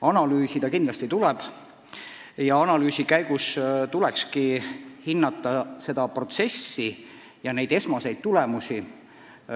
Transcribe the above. Analüüsida kindlasti tuleb ja analüüsi käigus tuleks hinnata protsessi esmaseid tulemusi.